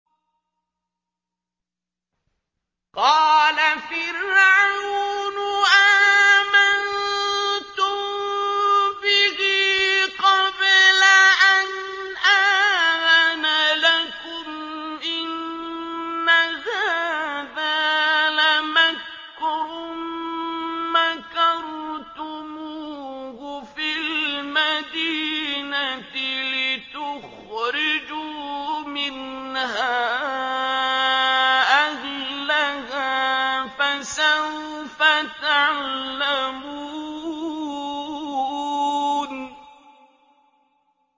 قَالَ فِرْعَوْنُ آمَنتُم بِهِ قَبْلَ أَنْ آذَنَ لَكُمْ ۖ إِنَّ هَٰذَا لَمَكْرٌ مَّكَرْتُمُوهُ فِي الْمَدِينَةِ لِتُخْرِجُوا مِنْهَا أَهْلَهَا ۖ فَسَوْفَ تَعْلَمُونَ